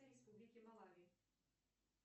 республики малавии